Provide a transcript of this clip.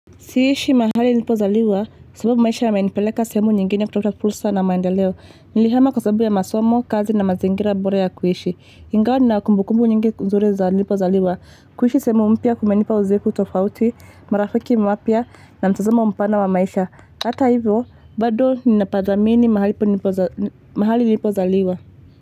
Siishi mahali nilipozaliwa, sababu maisha yamenipeleka sehemu nyingine kutafuta fursa na maendeleo nilihama kwa sababu ya masomo kazi na mazingira bora ya kuishi ingawa nina kumbukumbu nyingine nzuri za nilipo zaliwa, kuishi sehemu mpya kumenipa uzoefu tofauti marafiki wapya na mtazamo mpana wa maisha. Hata hivyo bado ninapathamini mahali nilipozaliwa.